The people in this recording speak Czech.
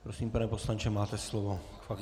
Prosím, pane poslanče, máte slovo.